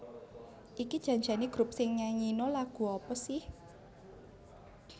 iki jan jane grup sing nyanyino lagu apa seh?